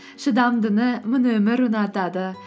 шыдамдыны мына өмір ұнатады